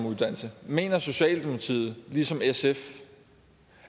uddannelse mener socialdemokratiet ligesom sf